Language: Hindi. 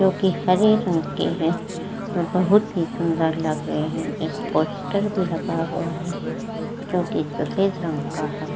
जो कि हरे रंग के हैं और बहोत ही सुंदर लग रहे हैं। एक पोस्टर भी लगा हुआ है जो कि सफ़ेद रंग का है।